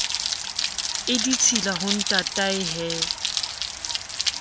e ditshila ho ntatae he